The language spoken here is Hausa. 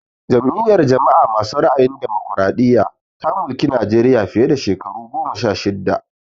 Jam'iyar jama'a masu ra'ayin damokaraɗiya ta mulki Najeriya fiye da shekaru goma sha shidda